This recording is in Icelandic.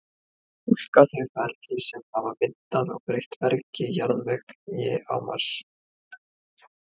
túlka þau ferli sem hafa myndað og breytt bergi og jarðvegi á mars